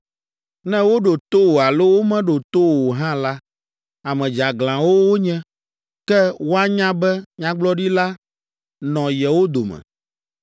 Ne woɖo to wò alo womeɖo to wò o hã la, ame dzeaglãwo wonye, ke woanya be nyagblɔɖila nɔ yewo dome.